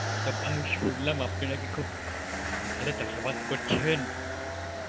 আচ্ছা ভাই শুনলাম আপনি নাকি খুব ভালোই চাষাবাদ করছেন.